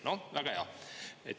" No väga hea.